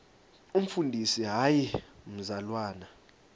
umfundisi hayi mzalwana